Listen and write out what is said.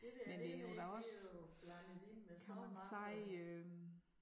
Men det jo da også kan man sige øh